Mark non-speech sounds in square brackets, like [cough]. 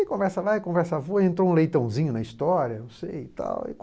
E conversa vai, conversa foi, entrou um leitãozinho na história, eu [unintelligible] sei e tal.